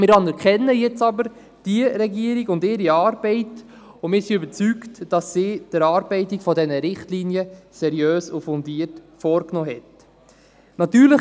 Wir anerkennen jetzt jedoch diese Regierung und ihre Arbeit, und wir sind davon überzeugt, dass sie die Erarbeitung dieser Richtlinien seriös und fundiert vorgenommen hat.